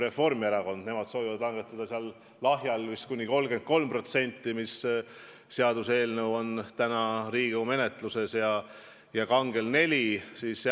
Reformierakond soovib langetada lahja alkoholi aktsiisi vist kuni 33%, see seaduseelnõu on Riigikogu menetluses, ja kangel alkoholil 4%.